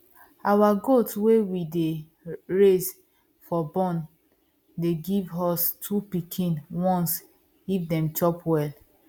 our goat wey we dey raise for born dey give us two pikin once if dem chop well